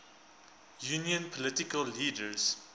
union political leaders